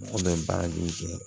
An bɛ baara min kɛ